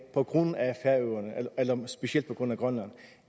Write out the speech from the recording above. på grund af specielt grønland